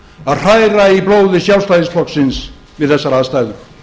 að hræra í blóði sjálfstæðisflokksins við þessar aðstæður